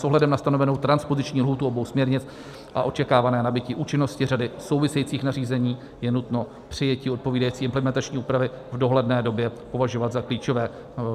S ohledem na stanovenou transpoziční lhůtu obou směrnic a očekávané nabytí účinnosti řady souvisejících nařízení je nutno přijetí odpovídající implementační úpravy v dohledné době považovat za klíčové.